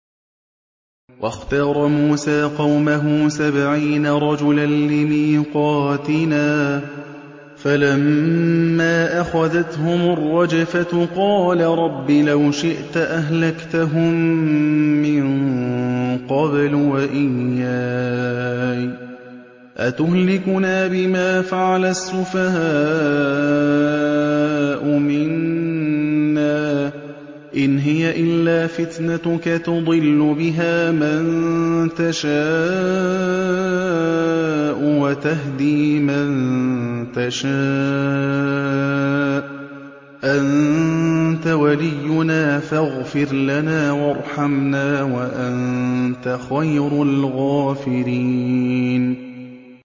وَاخْتَارَ مُوسَىٰ قَوْمَهُ سَبْعِينَ رَجُلًا لِّمِيقَاتِنَا ۖ فَلَمَّا أَخَذَتْهُمُ الرَّجْفَةُ قَالَ رَبِّ لَوْ شِئْتَ أَهْلَكْتَهُم مِّن قَبْلُ وَإِيَّايَ ۖ أَتُهْلِكُنَا بِمَا فَعَلَ السُّفَهَاءُ مِنَّا ۖ إِنْ هِيَ إِلَّا فِتْنَتُكَ تُضِلُّ بِهَا مَن تَشَاءُ وَتَهْدِي مَن تَشَاءُ ۖ أَنتَ وَلِيُّنَا فَاغْفِرْ لَنَا وَارْحَمْنَا ۖ وَأَنتَ خَيْرُ الْغَافِرِينَ